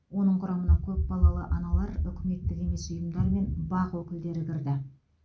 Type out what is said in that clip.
оның құрамына көпбалалы аналар үкіметтік емес ұйымдар мен бақ өкілдері кірді